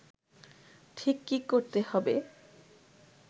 ঠিক কী করতে হবে